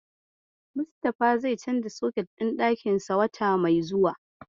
Mustafa zai canza soket ɗin ɗakinsa wata mai zuwa.